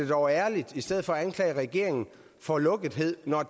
dog ærligt i stedet for at anklage regeringen for lukkethed når